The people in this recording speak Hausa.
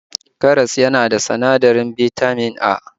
Karas yana cike da sinadarin Bitamin A